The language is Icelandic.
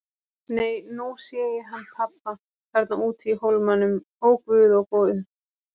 Nei, nú sé ég hann pabba þarna úti í hólmanum, ó guð, ó guð.